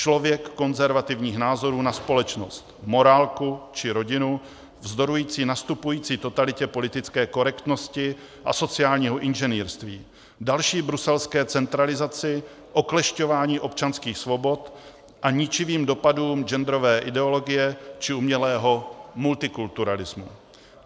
Člověk konzervativních názorů na společnost, morálku či rodinu, vzdorující nastupující totalitě politické korektnosti a sociálního inženýrství, další bruselské centralizaci, oklešťování občanských svobod a ničivým dopadům genderové ideologie či umělého multikulturalismu.